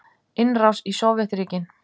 Innrás í Sovétríkin.